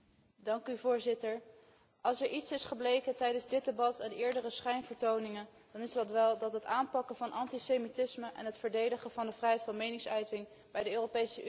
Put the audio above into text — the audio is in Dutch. Als er iets is gebleken tijdens dit debat en eerdere schijnvertoningen, dan is dat wel dat het aanpakken van antisemitisme en het verdedigen van de vrijheid van meningsuiting bij de Europese Unie in heel slechte handen is.